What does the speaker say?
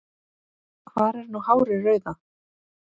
Hvar er nú hárið rauða?